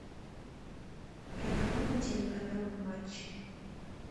программа телеканала матч